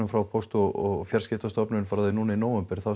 frá póst og fjarskiptastofnun frá því núna í nóvember þá